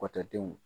Kɔtɔdenw